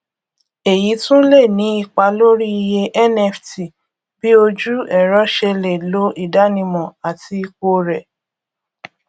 èyí tún lè ní ipa lórí iye nft bí ojú ẹrọ ṣe lè lo ìdánimọ àti ipò rẹ